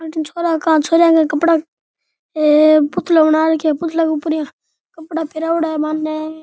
छोरा का छोरिया का कपड़ा पुतला बना रखा हैं पुतला के ऊपर कपड़ा पेहरावड़ा है बान।